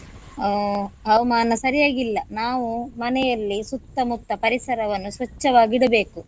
ಆ ಹವಾಮಾನ ಸರಿಯಾಗಿಲ್ಲ ನಾವು ಮನೆಯಲ್ಲಿ ಸುತ್ತಮುತ್ತ ಪರಿಸರವನ್ನು ಸ್ವಚ್ಚವಾಗಿಡಬೇಕು.